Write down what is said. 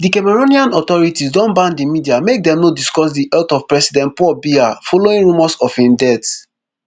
di cameroonian authorities don ban di media make dem no discuss di health of president paul biya following rumours of im death